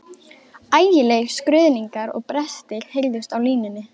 Ægilegir skruðningar og brestir heyrðust á línunni.